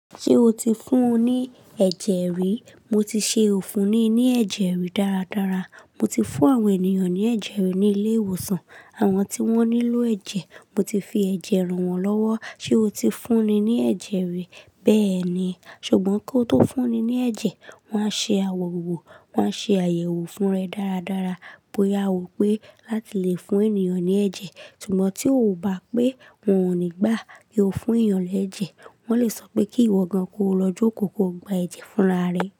Ṣé o ti fún un ní ẹ̀jẹ̀ rí? Mo ti ṣe òfin ní ní ẹ̀jẹ̀ rí dáradára. Mo ti fún àwọn ènìyàn ní ẹ̀jẹ̀ rí ní ilé ìwòsàn, àwọn tí wọ́n nílò ẹ̀jẹ̀. Mo ti fi ẹ̀jẹ̀ ràn wọ́n lọ́wọ́. Ṣé o ti fún ni ní ẹ̀jẹ̀ rí bẹ́ẹ̀ ni? Ṣùgbọ́n kí ó tó fún ni ní ẹ̀jẹ̀, wọ́n á ṣe àwọ̀wọ̀, wọ́n á ṣe àyẹ̀wò fún rẹ dáradára bóyá a wò pé láti lè fún ènìyàn ní ẹ̀jẹ̀. Ṣùgbọ́n tí ó bá pé wọn ò ní gbà kí o fún èyàn ní ẹ̀jẹ̀, wọ́n lè sọ pé kí ìwọ gan kó lọ jókòó kó gba ẹ̀jẹ̀ fúnra rẹ.